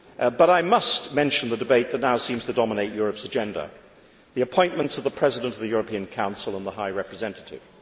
But I must mention the debate that now seems to dominate Europe's agenda the appointments of the President of the European Council and the High Representative.